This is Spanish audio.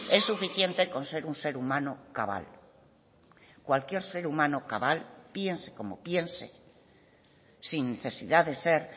es suficiente con ser un ser humano cabal cualquier ser humano cabal piense como piense sin necesidad de ser